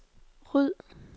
ryd